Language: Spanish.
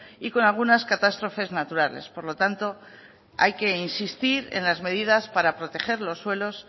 y con algunas catástrofes naturales por lo tanto hay que insistir en las medidas para proteger los suelos